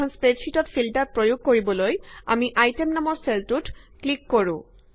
এখন স্প্ৰেডশ্যিটত ফিল্টাৰ প্ৰয়োগ কৰিবলৈ আমি আইটেম নামৰ চেলটোত ক্লিক কৰো